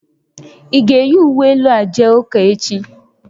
Ị ga-eyi uwe elu a jee ụka echi?